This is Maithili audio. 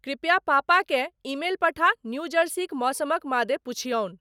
कृपया पापा केँ ईमेल पठा न्यू जर्सीक मौसमक मादे पूछियनु।